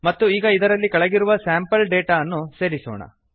ಮತ್ತು ಈಗ ಇದರಲ್ಲಿ ಕೆಳಗಿರುವ ಸ್ಯಾಂಪಲ್ ಡೇಟಾ ಅನ್ನು ಸೇರಿಸೋಣ